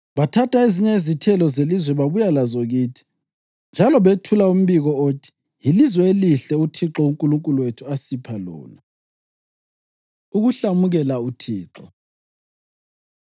Bathatha ezinye izithelo zelizwe babuya lazo kithi, njalo bethula umbiko othi, ‘Yilizwe elihle uThixo uNkulunkulu wethu asipha lona.’ ” Ukuhlamukela uThixo